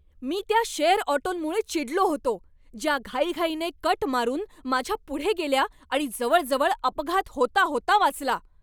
मी त्या शेअर ऑटोंमुळे चिडलो होतो, ज्या घाईघाईने कट मारून माझ्या पुढे गेल्या आणि जवळजवळ अपघात होता होता वाचला.